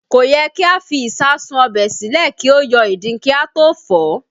Kò yẹ kí a fi ìsáàsùn ọbẹ̀ sílẹ̀ kí ó yọ ìdin kí a tó fọ̀ ọ́